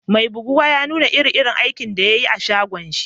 Mai buguwan ya nuna iri-irin aikin da ya yi a'shagon shi.